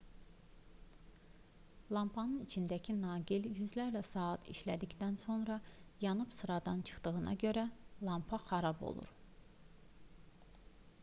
lampanın içindəki naqil yüzlərlə saat işlədikdən sonra yanıb sıradan çıxdığına görə lampa xarab olur